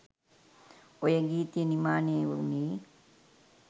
ඔය ගීතය නිමානය වුනේ